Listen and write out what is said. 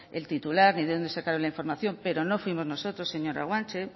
el titular ni de dónde sacaron la información pero no fuimos nosotros señora guanche